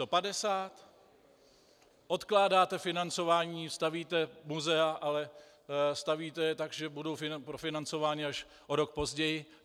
Odkládáte financování, stavíte muzea, ale stavíte je tak, že budou profinancovány až o rok později.